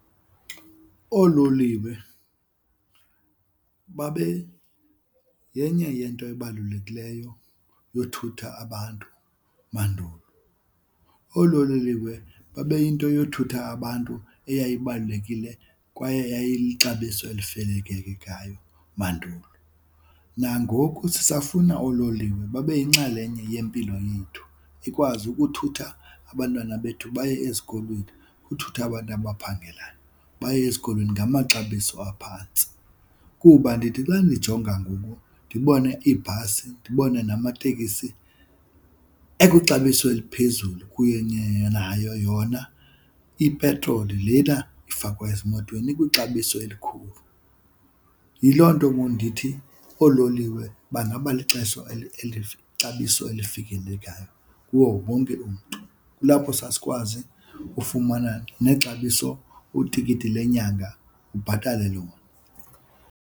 Oololiwe babe yenye yento ebalulekileyo yothutha abantu mandulo. Oololiwe babe yinto yothutha abantu eyibalulekile kwaye eyayilixabiso elifikelelekayo mandulo. Nangoku sisafuna oololiwe babe yinxalenye yempilo yethu, ikwazi ukuthutha abantwana bethu baye ezikolweni, ukuthutha abantu abaphangelayo, baye ezikolweni ngamaxabiso aphantsi. Kuba ndithi xa ndijonga ngoku ndibone iibhasi ndibone namatekisi ekwixabiso eliphezulu kunye nayo yona ipetroli lena ifakwa ezimotweni ikwixabiso elikhulu. Yiloo nto ngoku ndithi oololiwe bangaba ixabiso elifikelelekayo kuwo wonke umntu. Kulapho sasikwazi ufumana nexabiso utikiti lenyanga ubhatale lona.